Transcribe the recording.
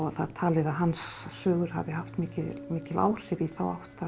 það er talið að hans sögur hafi haft mikil mikil áhrif í þá átt